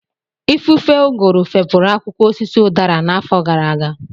Ifufe ụgụrụ fepụrụ akwụkwọ osisi udara n'afọ gara aga